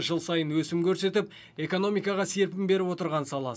жыл сайын өсім көрсетіп экономикаға серпін беріп отырған сала